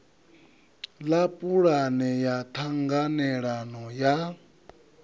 ḽa pulane ya ṱhanganelano ya